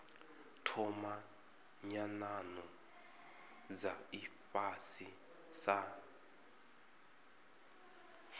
thoma nyanano dza ifhasi sa